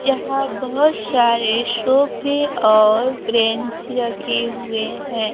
यहां बहुत सारे सोफे और बैंच रखे हुए हैं।